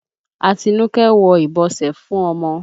Atinúké ń wọ ìbọsẹ̀ fún ọmọ.